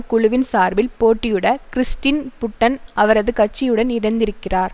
குழுவின் சார்பில் போட்டியுட கிறிஸ்டின் புட்டன் அவரது கட்சியுடன் இணைந்திருக்கிறார்